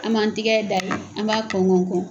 An man tigɛ da an b'a kɔn kɔn kɔn